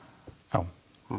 já